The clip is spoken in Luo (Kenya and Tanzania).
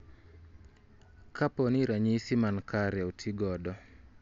Kapo ni ranyisi mankare oti godo